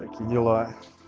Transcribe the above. такие дела